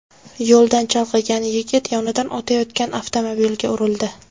Yo‘ldan chalg‘igan yigit yonidan o‘tayotgan avtomobilga urildi.